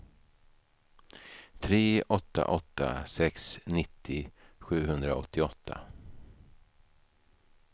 tre åtta åtta sex nittio sjuhundraåttioåtta